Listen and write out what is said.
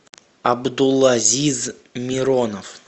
абдулазиз миронов